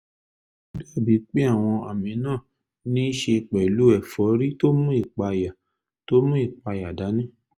ó dàbíi pé àwọn àmì náà níí ṣe pẹ̀lú ẹ̀fọ́rí tó mú ìpayà tó mú ìpayà dání